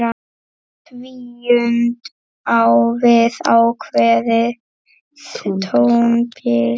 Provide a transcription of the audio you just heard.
Tvíund á við ákveðið tónbil.